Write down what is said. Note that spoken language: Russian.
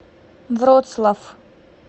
вроцлав